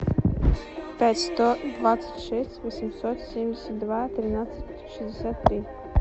пять сто двадцать шесть восемьсот семьдесят два тринадцать шестьдесят три